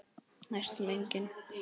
Næstum engin.